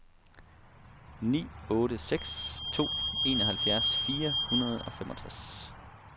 ni otte seks to enoghalvfjerds fire hundrede og femogtres